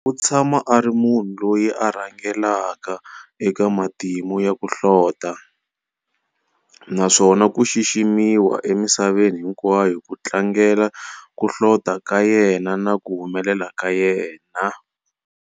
U tshama ari munhu loyi a rhangelaka eka matimu ya ku hlota, naswona ku xiximiwa emisaveni hinkwayo ku tlangele ku hlota ka yena na ku humelela ka yena.